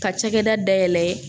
Ka cakɛda dayɛlɛ